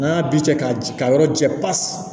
N'a bi cɛ ka ji ka yɔrɔ jɛ pasi